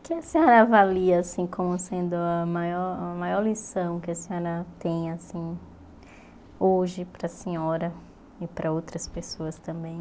O que a senhora avalia assim como sendo a maior a maior lição que a senhora tem assim hoje para a senhora e para outras pessoas também?